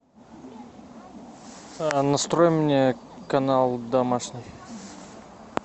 настрой мне канал домашний